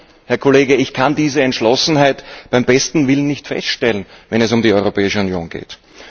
Nur, Herr Kollege, ich kann diese Entschlossenheit beim besten Willen nicht feststellen, wenn es um die Europäische Union geht.